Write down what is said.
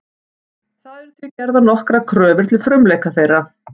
Það eru því gerðar nokkrar kröfur til frumleika þeirra.